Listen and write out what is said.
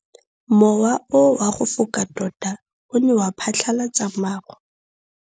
Mowa o wa go foka tota o ne wa phatlalatsa maru.